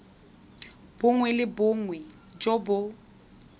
bongwe le bongwe jo bo